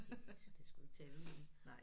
Det det sgu ikke til at vide